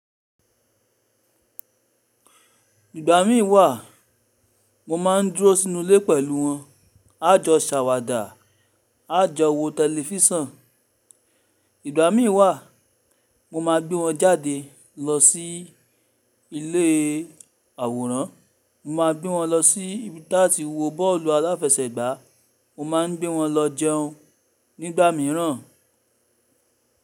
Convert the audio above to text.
Nígbà mí wà mo máa ń dúró sínú ilé pẹ̀lú wọn. A jọ ṣàwàdà, a jọ wo tẹlifísàn. Nígbà mí wà mo máa gbé wọn jáde lọ sí ilé àwòrán. Mo máa gbé wọn lọ síbi tá ti wo bọ́ọ̀lù aláfẹsẹ̀gbá. Mo máa ń gbé wọn lọ jẹun nígbà míràn.